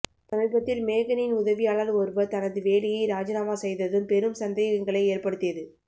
சமீபத்தில் மேகனின் உதவியாளர் ஒருவர் தனது வேலையை ராஜினாமா செய்ததும் பெரும் சந்தேகங்களை ஏற்படுத்தியது